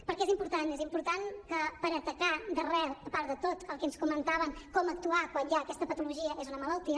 perquè és important és important que per atacar d’arrel a part de tot el que ens comentaven de com actuar quan hi ha aquesta patologia que és una malaltia